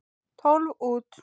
Tólf út.